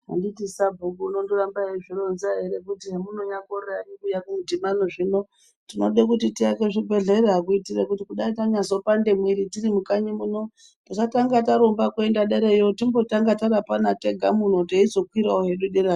Anditi sabhuku unondramba eizvironza ere kuti hemunyakorera henyu kuuye kumudhibano zvino tinode kuti tiaake zvibhehlera kuitire kuti dai tanyazopande mwiri tirimukanyi muno tisatange tarumba kuenda derayo timbotanga tarapana tega muno teizokwirawo hedu derayo.